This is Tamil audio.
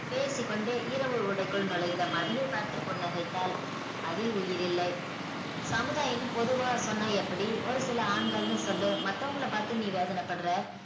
பேசிக்கொண்டே இரவு உடைக்குள் நுழைந்த மதியை பார்த்து புன்னகைத்தால் அதில் உயிர் இல்லை சமுதாயம்னு பொதுவா சொன்ன எப்படி ஒரு சில ஆண்கள்னு சொல்லு மத்தவங்கள பாத்து நீ வேதனப்படுற